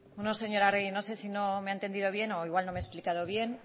no señora arregi no sé si no me ha entendido bien o igual no me he explicado bien